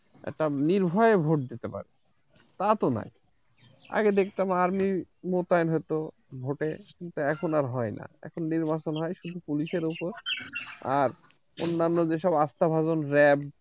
একটা নির্ভয়ে vote দিতে পারবে, তা তো না, আগে দেখতাম army মোতায়েন হতো vote এ এখন আর হয় না এখন নির্বাচন হয় কিছু police র উপর আর অন্যন্য যে সব আস্তা ভাজন RAF